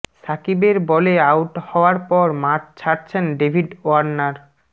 শাকিবের বলে আউট হওয়ার পর মাঠ ছাড়ছেন ডেভিড ওয়ার্নার